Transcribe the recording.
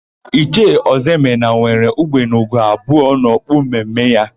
Ichie Ọzọemena nwere ugbene ugo abụọ n'okpu mme mme ya.